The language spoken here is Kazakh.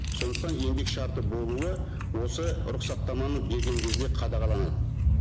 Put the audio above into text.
сондықтан еңбек шарты болуы осы рұқсаттаманы берген кезде қадағаланады